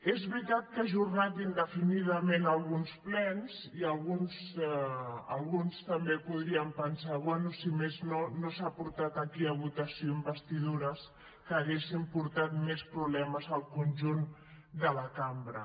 és veritat que ha ajornat indefinidament alguns plens i alguns també podríem pensar bé si més no no s’han portat aquí a votació investidures que haguessin portat més problemes al conjunt de la cambra